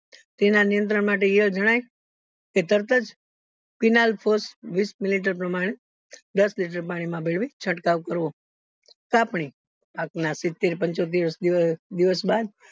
તેના નિયંત્રણ માટે ઈયળ જણાય કે તરતજ millileter પ્રમાણે દસ liter પાણી માં ભેળવી છ્ડ્કાવ કરવો કપની પાક ના સિત્તેર પંચોતેર દીવસ બાદ